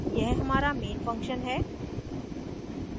यह हमारा main function है